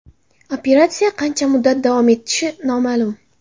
Operatsiya qancha muddat davom etishi noma’lum.